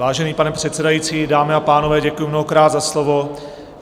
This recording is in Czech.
Vážený pane předsedající, dámy a pánové, děkuji mnohokrát za slovo.